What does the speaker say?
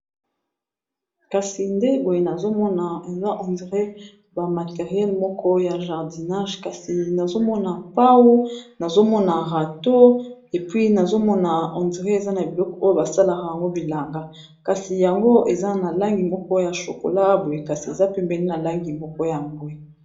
kasi nde boye eza bamateriel moko ya jardinage kasi nazomona pau nazomona rato epui nazomona eza na biloko oyo basalaka yango bilanga kasi yango eza na langi moko ya chokola boye kasi eza pembeli na langi moko ya bwe